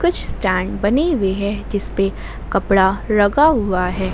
कुछ स्टैंड बनी हुई है जिस पे कपड़ा लगा हुआ है।